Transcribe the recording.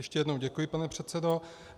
Ještě jednou děkuji, pane předsedo.